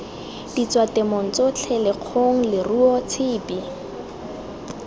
ditswatemong tsotlhe lekgong leruo tshipi